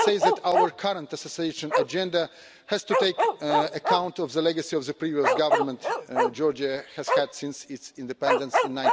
Let's say that our current association agenda has to take account of the legacy of the previous government Georgia had since its independence